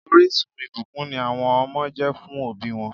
Orísun ìbùkún ni àwọn ọmọ jẹ́ fún òbí wọn